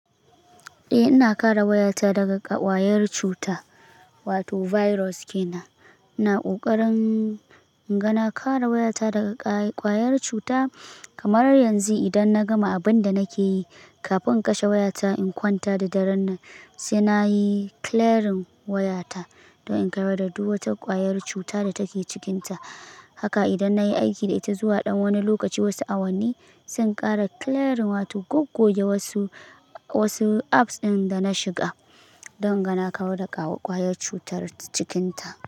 Eh, ina kare wayata daga ƙwayar cuta wato virus ke nan. Ina ƙoƙarin inga na kare wayata daga ƙwayar cuta kamar yanzu idan na gama abin da nake yi, kafin in kashe wayata, in kwanta da daren nan, sai na yi clearing wayata, don in kawar da duk wata ƙwayar cuta da take cikinta, Haka idan nayi aiki da ita zuwa ɗan wani lokaci wasu awanni, sai in ƙara clearing wato goggoge wasu, wasu apps ɗin da na shiga, don inga na kawar da ƙwayar cutar cikinta.